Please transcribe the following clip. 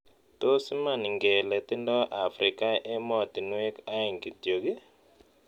Tos' iman iingelee tindo afrika emotinuek aeng' kityok ii